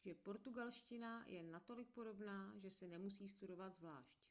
že portugalština je natolik podobná že se nemusí studovat zvlášť